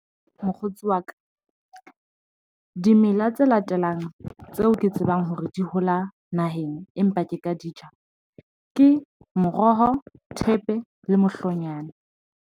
Mokgotsi wa ka dimela tse latelang tseo ke tsebang hore di hola naheng, empa ke ka di ja, ke moroho, thepe le mohlomonyane.